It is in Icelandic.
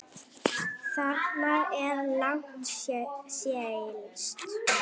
Þarna er langt seilst.